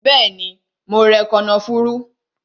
Bẹẹni, mo rẹ kànáfùrú